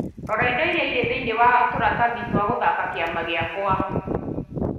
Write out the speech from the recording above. Rora indo iria irĩ thĩinĩ wa tũratathi twa guthaka kĩama gĩakwa